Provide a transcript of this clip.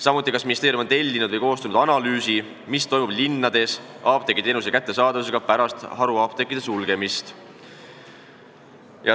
Samuti, kas ministeerium on tellinud või koostanud analüüsi, mis toimub linnades apteegiteenuse kättesaadavusega pärast haruapteekide sulgemist?